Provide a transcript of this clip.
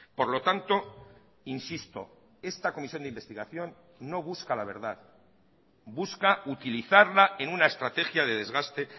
por lo tanto insisto esta comisión de investigación no busca la verdad busca utilizarla en una estrategia de desgaste